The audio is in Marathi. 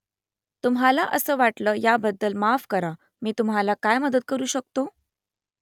तुम्हाला असं वाटलं याबद्दल माफ करा मी तुम्हाला काय मदत करू शकतो ?